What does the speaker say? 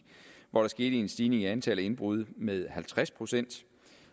hvor der skete en stigning i antallet af indbrud med halvtreds procent